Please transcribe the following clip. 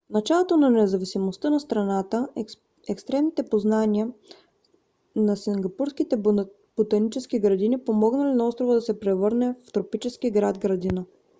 в началото на независимостта на страната експертните познания на сингапурските ботанически градини помогнали на острова да се превърне в тропически град-градина